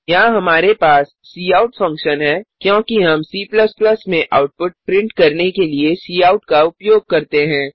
यहाँ हमारे पास काउट फंकशन है क्योंकि हम C में आउटपुट प्रिन्ट करने के लिए काउट का उपयोग करते हैं